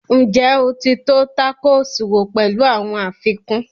Ǹjẹ́ o ti tọ́ tákòòsì wò pẹ̀lú àwọn àfikún?